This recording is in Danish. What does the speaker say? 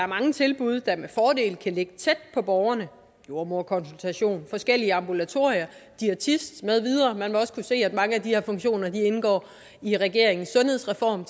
mange tilbud der med fordel kan ligge tæt på borgerne jordemoderkonsultationer forskellige ambulatorier diætister med videre man må også kunne se at mange af de her funktioner indgår i regeringens sundhedsreform